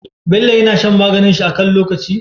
Bello yAna shan maganin shi akan lokaci?